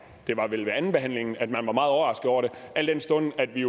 det var vel ved andenbehandlingen at man var meget overrasket over det al den stund at vi